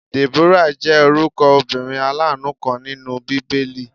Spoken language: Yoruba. Deborah jẹ́ orúkọ obìnrin alanu kan nínú bíbélì.